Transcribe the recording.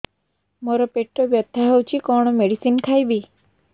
ମୋର ପେଟ ବ୍ୟଥା ହଉଚି କଣ ମେଡିସିନ ଖାଇବି